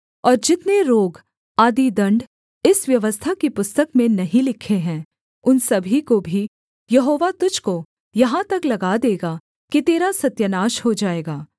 और जितने रोग आदि दण्ड इस व्यवस्था की पुस्तक में नहीं लिखे हैं उन सभी को भी यहोवा तुझको यहाँ तक लगा देगा कि तेरा सत्यानाश हो जाएगा